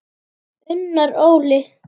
Unnar Óli.